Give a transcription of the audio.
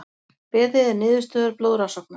Beðið er niðurstöðu blóðrannsóknar